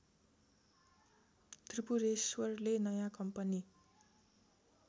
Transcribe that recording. त्रिपुरेश्वरले नयाँ कम्पनी